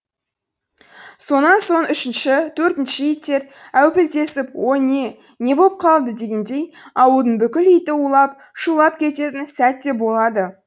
сонан соң үшінші төртінші иттер әупілдесіп о не не боп қалды дегендей ауылдың бүкіл иті улап шулап кететін сәт те болады